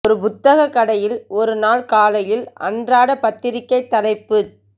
ஒரு புத்தகக் கடையில் ஒரு நாள் காலையில் அன்றாட பத்திரிகைத் தலைப்புச்